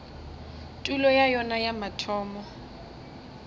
tulo ya yona ya mathomo